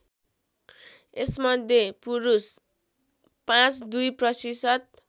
यसमध्ये पुरुष ५२ प्रतिशत